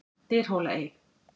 Dyrhólaey